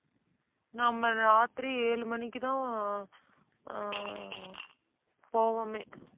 நம்ம ராத்திரி ஏழு மணிக்குதான் அஹ் அஹ் போவோமே.